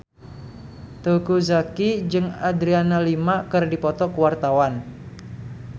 Teuku Zacky jeung Adriana Lima keur dipoto ku wartawan